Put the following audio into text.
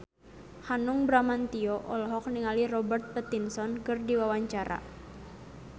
Hanung Bramantyo olohok ningali Robert Pattinson keur diwawancara